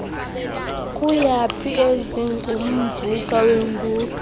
kuyaphi ezingumvuka weenguqu